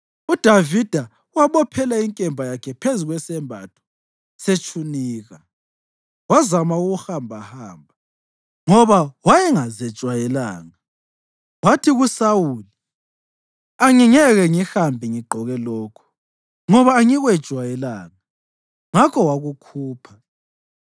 UDavida wabophela inkemba yakhe phezu kwesembatho setshunika wazama ukuhambahamba, ngoba wayengazejwayelanga. Wathi kuSawuli, “Angingeke ngihambe ngigqoke lokhu, ngoba angikwejwayelanga.” Ngakho wakukhupha.